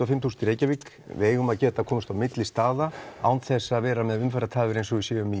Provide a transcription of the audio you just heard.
fimm þúsund í Reykjavík við eigum að geta komist milli staða án þess að vera með umferðartafir eins og við séum í